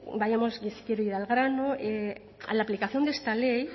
vayamos ir al grano la aplicación de esta ley